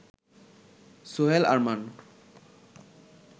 Sohel Arman